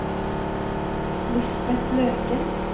Lisbet Løken